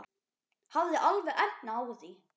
Hafði alveg efni á því.